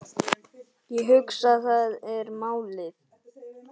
Ég hugsa, það er málið.